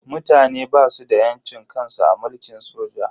Mutane basu da yancin kansu a mulkin soja.